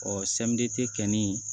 Ɔ samiyɛ tɛ kɛ nin